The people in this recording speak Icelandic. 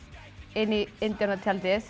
inn í